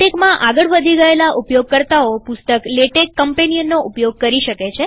ઉન્નતી પામેલા ઉપયોગકર્તાઓ પુસ્તક લેટેક કમ્પેનિયનનો ઉપયોગ કરી શકે છે